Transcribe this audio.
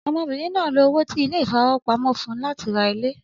Ọmọbìnrin náà lo owó tí ilé ìfowópamọ́ fún láti ra ilé.